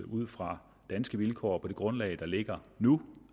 ud fra danske vilkår på det grundlag der ligger nu